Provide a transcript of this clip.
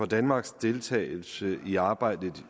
danmarks deltagelse i arbejdet